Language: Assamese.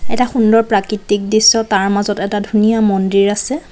এটা সুন্দৰ প্ৰাকৃতিক দৃশ্য তাৰ মাজত এটা ধুনীয়া মন্দিৰ আছে।